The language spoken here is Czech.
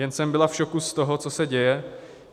Jen jsem byla v šoku z toho, co se děje.